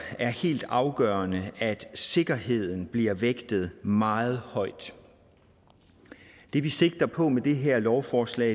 er helt afgørende at sikkerheden bliver vægtet meget højt det vi sigter på med det her lovforslag